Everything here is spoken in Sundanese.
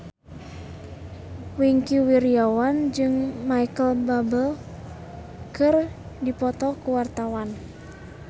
Wingky Wiryawan jeung Micheal Bubble keur dipoto ku wartawan